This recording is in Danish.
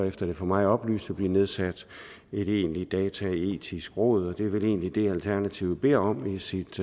efter det for mig oplyste blive nedsat et egentligt dataetisk råd og det er vel egentlig det alternativet beder om i sit